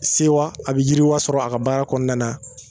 Sewa a bɛ yiriwa sɔrɔ a ka baara kɔnɔna na